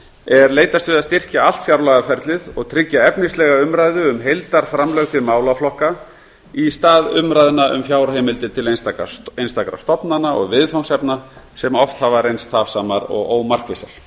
er leitast við að styrkja allt fjárlagaferlið og tryggja efnislega umræðu um heildarframlög til málaflokka í stað umræðna um fjárheimildir til einstakra stofnana og viðfangsefna sem oft hafa reynst tafsamar og ómarkvissar